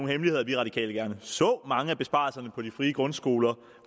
hemmelighed at vi radikale gerne så at mange af besparelserne på de frie grundskoler